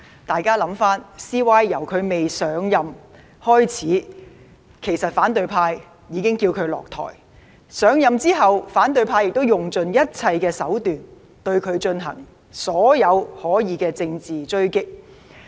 大家回想一下，其實 CY 由未上任開始，反對派已叫他下台，而上任後反對派亦用盡一切手段，對他進行所有可能的政治追擊。